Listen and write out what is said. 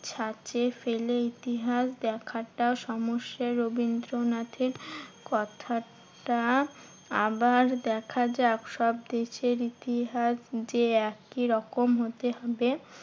ছাঁচে ফেলে ইতিহাস দেখাটা সমস্যার। রবীন্দ্রনাথের কথাটা আবার দেখাযাক। সব দেশের ইতিহাস যে একই রকম হতে হবে